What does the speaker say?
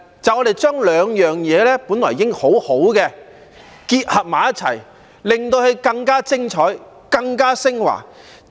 它象徵兩種本已很好的東西互相結合，變得更加精彩、更加昇華。